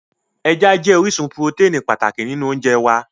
Ẹja jẹ́ orísun purotẹ́ẹ̀nì pàtàkì nínú oúnjẹ wá